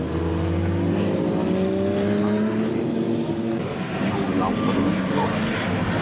Magnús Hlynur: Nú langar honum í mjólk?